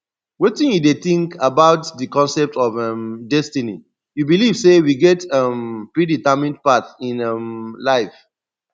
wetin you dey think about di concept of um destiny you believe say we get a um predetermined path in um life